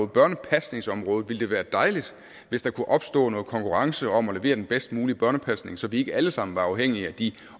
børnepasningsområdet være dejligt hvis der kunne opstå noget konkurrence om at levere den bedst mulige børnepasning så vi ikke alle sammen var afhængige af de